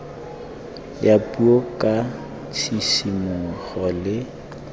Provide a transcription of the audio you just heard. ya puo ka tshisimogo le